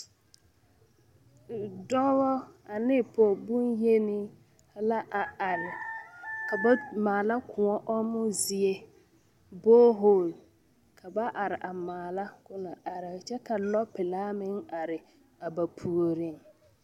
Dɔba ane pɔgebonyeni la a are ka ba maala koɔ ɔmmɔ zie borehole ka ba are are a maala na are a kyɛ Ka lɔpelaa meŋ are are a ba puoriŋ.